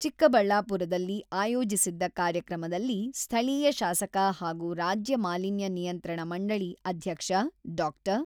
ಚಿಕ್ಕಬಳ್ಳಾಪುರದಲ್ಲಿ ಆಯೋಜಿಸಿದ್ದ ಕಾರ್ಯಕ್ರಮದಲ್ಲಿ ಸ್ಥಳೀಯ ಶಾಸಕ ಹಾಗೂ ರಾಜ್ಯ ಮಾಲಿನ್ಯ ನಿಯಂತ್ರಣ ಮಂಡಳಿ ಅಧ್ಯಕ್ಷ ಡಾ.